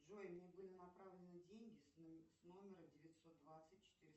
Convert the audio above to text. джой мне были направлены деньги с номера девятьсот двадцать четыреста